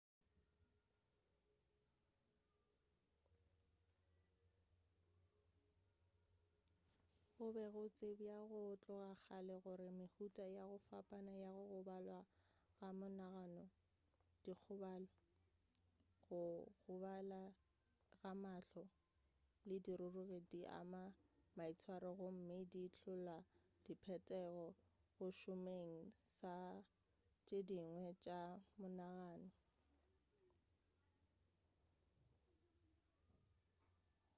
go be go tsebja go tloga kgale gore mehuta ya go fapana ya go gobala ga monagano dikgobalo go gobala ga mahlo le dirurugi di ama maitshwaro gomme di hlola diphetogo go šomeng sa tše dingwe tša monagano